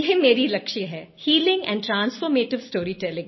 ये मेरा लक्ष्य है हीलिंग एंड ट्रांसफॉर्मेटिव स्टोरीटेलिंग